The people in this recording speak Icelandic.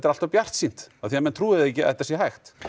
allt of bjartsýnt af því að menn trúa ekki að þetta sé hægt